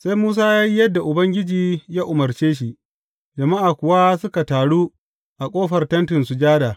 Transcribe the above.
Sai Musa ya yi yadda Ubangiji ya umarce shi, jama’a kuwa suka taru a ƙofar Tentin Sujada.